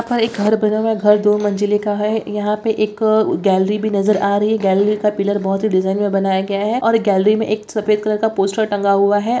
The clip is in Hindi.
यहां पर एक घर बना हुआ है घर दो मंजिले का है यहां पे एक गैलरी भी नजर आ रही है गैलरी का पिलर बहुत ही डिजाइन में बनाया गया है और गैलरी में एक सफेद कलर का पोस्टर टंगा हुआ है।